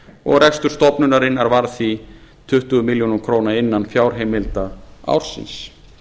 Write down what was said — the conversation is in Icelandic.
og rekstur stofnunarinnar varð því tuttugu milljónir króna innan fjárheimilda ársins